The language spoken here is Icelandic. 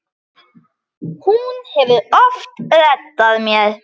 Hún hefur oft reddað mér.